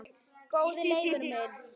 Góði Leifur minn